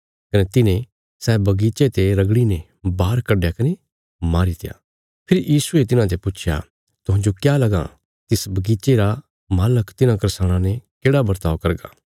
कने तिन्हे सै बगीचे ते रगड़ीने बाहर कड्डया कने मारीत्या फेरी यीशुये तिन्हाते पुच्छया तुहांजो क्या लगां तिस बगीचे रा मालक तिन्हां करसाणां ने केढ़ा बरताव करगा